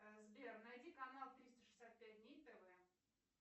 сбер найди канал триста шестьдесят пять дней тв